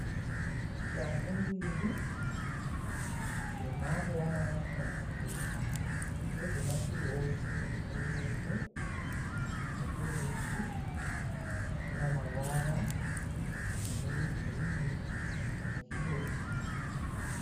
Shangu mbiri dzemhando yamarafutazi. Ndedzemativi ose ekuruboshwe nokurudyi. Dzina mavara anenge girini nezvidota.